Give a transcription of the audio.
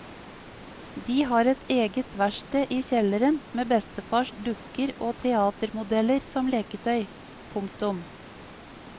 De har eget verksted i kjelleren med bestefars dukker og teatermodeller som leketøy. punktum